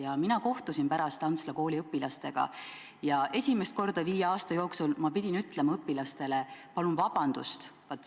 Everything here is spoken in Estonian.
Ja mina kohtusin pärast Antsla kooli õpilastega ja esimest korda viie aasta jooksul ma pidin õpilastele ütlema: "Palun vabandust!